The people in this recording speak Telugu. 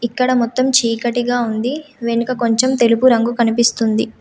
ఇక్కడ మొత్తం చీకటిగా ఉంది వెనుక కొంచెం తెలుపు రంగు కనిపిస్తుంది.